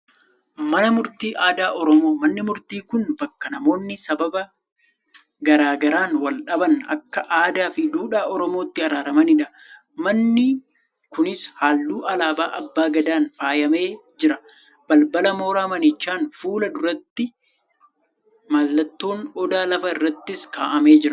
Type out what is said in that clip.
Mana murtii aadaa Oromoo. Manni murtii kun bakka namoonni sababa garaa garaan wal-dhaban akka aadaa fi duudhaa Oromootti araaramanidha. Manni kunis halluu alaabaa abbaa gadaan faayamee jira. Balbala mooraa manichaan fuula durattis mallattoon Odaa lafa irratti kaafamee jira.